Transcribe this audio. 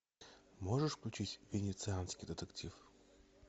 можешь включить венецианский детектив